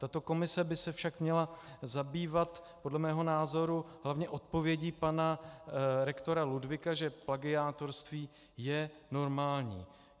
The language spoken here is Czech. Tato komise by se však měla zabývat podle mého názoru hlavně odpovědí pana rektora Ludwiga, že plagiátorství je normální.